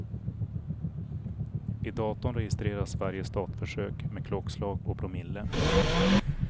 I datorn registreras varje startförsök med klockslag och promille.